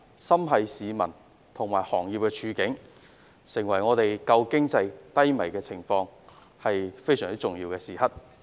心繫市民和行業的處境，現在是在有限空間拯救低迷的經濟的重要時刻。